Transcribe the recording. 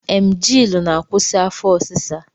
Emgyl na-akwusi afọ ọsịsa